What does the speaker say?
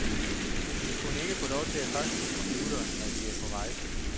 Vi kunne ikke få lov til at faxe fra computerne, når vi er på rejse.